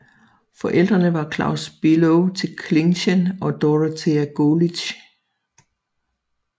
Forældrene var Claus Below til Klincken og Dorothea Golitz